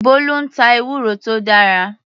Bolu ń ta ewúro tó dára.